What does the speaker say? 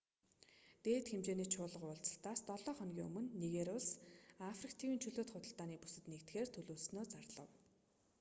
дээд хэмжээний чуулга уулзалтаас долоо хоногийн өмнө нигери улс африк тивийн чөлөөт худалдааны бүсэд нэгдэхээр төлөвлөснөө зарлав